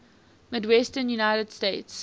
midwestern united states